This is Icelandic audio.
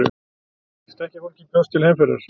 Stekkjarfólkið bjóst til heimferðar.